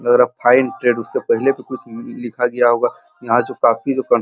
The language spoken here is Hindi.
लगा रहा है फाइन ट्रैडरस से पहले भी कुछ लिखा गया होगा यहाँ जो --